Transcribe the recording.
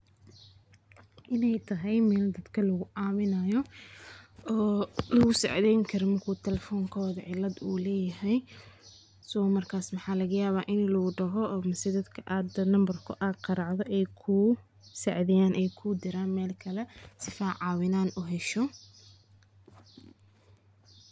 Waxaa iga muqata arinkan in ay tahay aad iyo aad u wanagsan .Ka qayb qaadashada bandhiga bulshada ee maalinta caalamiga ah ee waxaee leedahay faiidooyin badan oo muhiima.